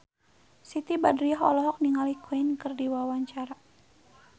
Siti Badriah olohok ningali Queen keur diwawancara